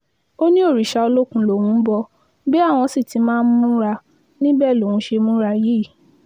ó ní òrìṣà olókùn lòun ń bọ bí àwọn sì ti máa ń múra níbẹ̀ lòun ṣe múra yìí